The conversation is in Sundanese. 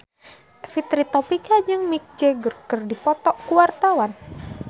Fitri Tropika jeung Mick Jagger keur dipoto ku wartawan